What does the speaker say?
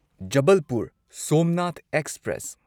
Jabalpur Somnath express